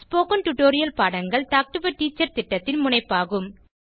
spoken tutorial பாடங்கள் talk to a teacher திட்டத்தின் முனைப்பாகும்